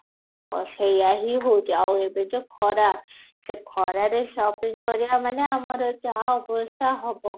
ତ ସେଇଆ ହିଁ ହଉଛି ଆଉ ଏବେ ଯୋଉ ଖରା ସେ ଖରାରେ ଶପିଂ କରିବା ମାନେ ଆମର ଯାହା ଅବସ୍ତା ହବ